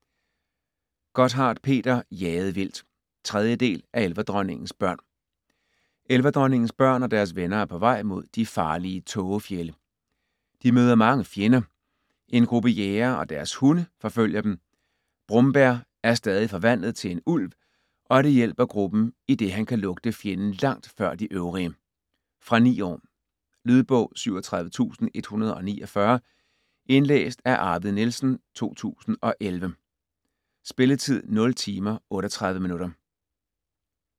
Gotthardt, Peter: Jaget vildt 3. del af Elverdronningens børn. Elverdronningens børn og deres venner er på vej mod de farlige tågefjelde. De møder mange fjender. En gruppe jægere og deres hunde forfølger dem. Brombær er stadig forvandlet til en ulv, og det hjælper gruppen, idet han kan lugte fjenden langt før de øvrige. Fra 9 år. Lydbog 37149 Indlæst af Arvid Nielsen, 2011. Spilletid: 0 timer, 38 minutter.